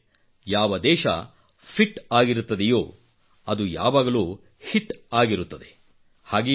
ಅಂದರೆ ಯಾವ ದೇಶ ಫಿಟ್ ಆಗಿರುತ್ತದೆಯೇ ಅದು ಯಾವಾಗಲೂ ಹಿಟ್ ಆಗಿರುತ್ತದೆ